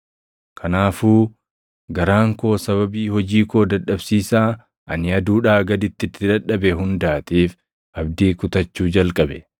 Kanaafuu garaan koo sababii hojii koo dadhabsiisaa ani aduudhaa gaditti itti dadhabe hundaatiif abdii kutachuu jalqabe.